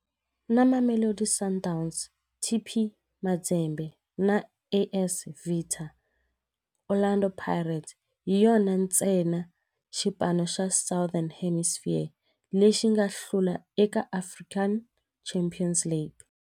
Na Mamelodi Sundowns, TP Mazembe na AS Vita, Orlando Pirates hi yona ntsena xipano xa Southern Hemisphere lexi nga hlula eka African Champions League.